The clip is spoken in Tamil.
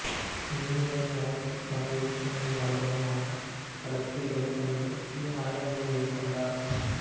மீன்களில் வளர்ச்சிக்கான இயக்குநீர் மரபணு மாற்றக் கடத்திகளைப் பயன்படுத்தி ஆய்வினை மேற்கொண்டார்